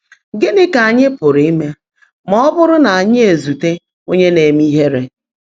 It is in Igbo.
Gị́ní kà ányị́ pụ́rụ́ íme má ọ́ bụ́rụ́ ná ányị́ ézuteé ónyé ná-èmé íhèèré?